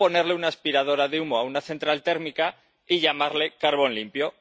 o ponerle una aspiradora de humo a una central térmica y llamarlo carbón limpio.